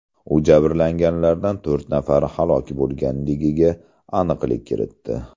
U jabrlanganlardan to‘rt nafari halok bo‘lganligiga aniqlik kiritdi.